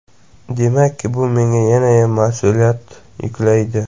Demakki, bu menga yanayam mas’uliyat yuklaydi.